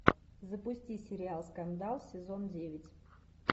запусти сериал скандал сезон девять